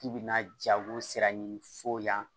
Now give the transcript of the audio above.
K'i bɛna jago sira ɲini f'o yan